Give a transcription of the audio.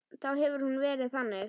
Þá hefði hún verið þannig: